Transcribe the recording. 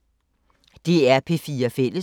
DR P4 Fælles